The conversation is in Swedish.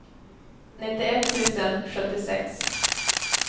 nittioett tusen sjuttiosex